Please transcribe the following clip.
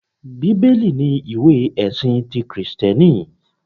Bíbélì ni ìwé ẹ̀sin ti Kìrìsìtíẹ́nì